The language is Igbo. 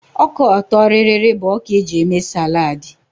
Ọka ọtọrịrị bụ ọka e ji eme sálàd.